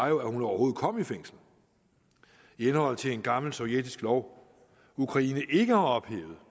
jo at hun overhovedet kom i fængsel i henhold til en gammel sovjetisk lov ukraine ikke har ophævet